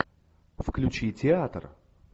включи театр